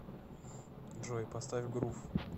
джой поставь грув